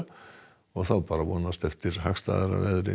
og þá er bara að vonast eftir hagstæðara veðri